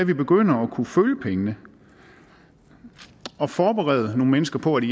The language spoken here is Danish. vi begyndte at kunne følge pengene og forberede nogle mennesker på de